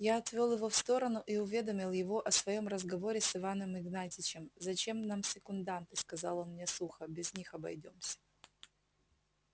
я отвёл его в сторону и уведомил его о своём разговоре с иваном игнатьичем зачем нам секунданты сказал он мне сухо без них обойдёмся